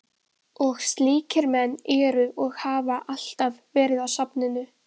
Og slíkir menn eru og hafa alltaf verið á safninu.